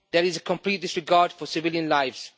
There is a complete disregard for civilian lives.